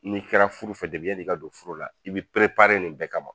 N'i kɛra furu fɛ yani i ka don furu la, i b'i perepare nin bɛɛ kama.